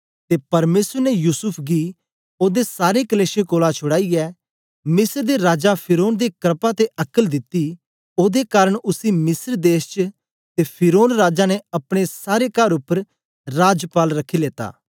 ते परमेसर ने युसूफ गी ओदे सारे कलेशें कोलां छुड़ाईयै मिस्र दे राजा फिरौन दे क्रपा ते अक्ल दिती ओदे कारन उसी मिस्र देश च ते फिरौन राजा ने अपने सारे कर उपर राजपाल रखी लेत्ता